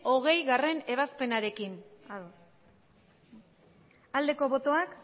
hogeigarrena ebazpenarekin bozka dezakegu aldeko botoak